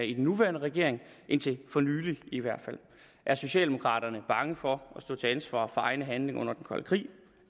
i den nuværende regering indtil for nylig i hvert fald er socialdemokraterne bange for at stå til ansvar for egne handlinger under den kolde krig